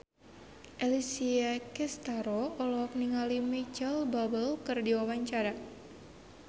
Alessia Cestaro olohok ningali Micheal Bubble keur diwawancara